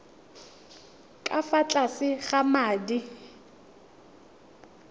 ka fa tlase ga madi